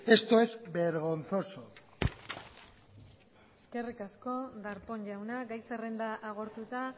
esto es vergonzoso eskerrik asko darpón jauna gai zerrenda agortuta